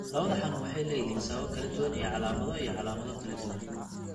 Labada xanuun waxay leeyihiin sababo kala duwan iyo calaamado iyo calaamado kala duwan.